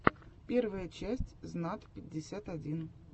первая часть знат пятьдесят один